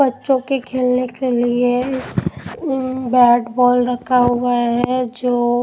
बच्चों के खेलने के लिए बैट बॉल रखा हुआ है जो--